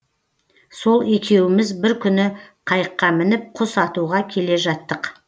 сол екеуміз бір күні қайыққа мініп құс атуға келе жаттық